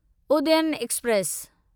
Udayan express